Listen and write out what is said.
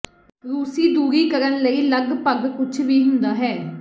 ਰੂਸੀ ਦੂਰੀ ਕਰਨ ਲਈ ਲਗਭਗ ਕੁਝ ਵੀ ਹੁੰਦਾ ਹੈ